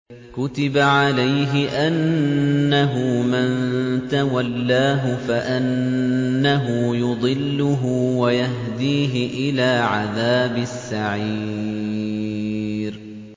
كُتِبَ عَلَيْهِ أَنَّهُ مَن تَوَلَّاهُ فَأَنَّهُ يُضِلُّهُ وَيَهْدِيهِ إِلَىٰ عَذَابِ السَّعِيرِ